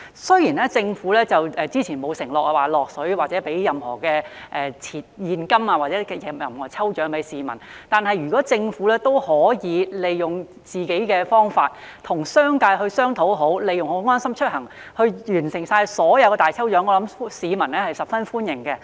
雖然政府早前沒有承諾為市民提供任何現金獎或抽獎，但如果政府可以與商界商討，讓市民利用"安心出行"參加各項大抽獎，相信市民會十分歡迎。